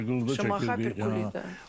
Pirquluda çəkildi, Şamaxı Pirquliydi.